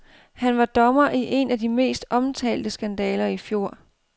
Han var dommer i en af de mest omtalte skandaler i fjor.